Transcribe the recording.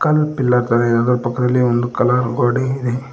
ಅಲ್ಲಿ ಪಿಲ್ಲರ್ ಪಕ್ಕದಲ್ಲಿ ಒಂದು ಕಲರ್ ಗೋಡೆ ಇದೆ.